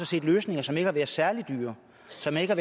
set løsninger som ikke har været særlig dyre som ikke har